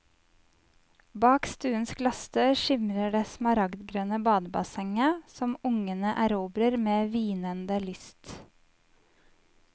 Bak stuens glassdør skimrer det smaragdgrønne badebassenget, som ungene erobrer med hvinende lyst.